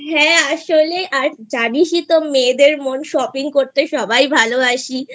হ্যাঁ আসলে আর জানিসই তো মেয়েদের মন Shopping করতে সবাই ভালোবাসি